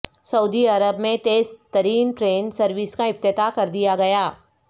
سعودی عرب میں تیز ترین ٹرین سروس کا افتتاح کردیا گیا